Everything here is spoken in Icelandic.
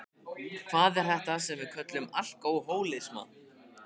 Hvað er þetta sem við köllum alkohólisma?